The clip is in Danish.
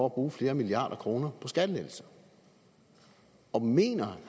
at bruge flere milliarder kroner på skattelettelser og mener